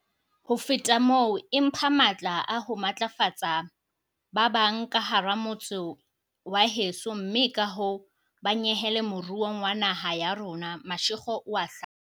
"Ho feta moo, e mpha matla a ho matlafatsa ba bang ka hara motse wa heso mme kahoo ba nyehele moruong wa naha ya rona," Mashego o a hlalosa.